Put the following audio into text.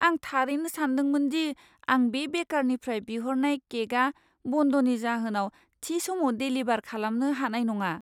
आं थारैनो सानदोंमोन दि आं बे बेकारनिफ्राय बिहरनाय केकआ बन्दनि जाहोनाव थि समाव डेलिभार खालामनो हानाय नङा।